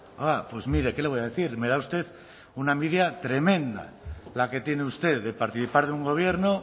ah pues mire qué le voy a decir me da usted una envidia tremenda la que tiene usted de participar en un gobierno